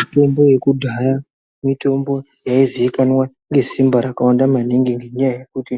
Mitombo yakudhaya mitombo yaizikanwa ngesimba rakawanda maningi. Ngenyaya yekuti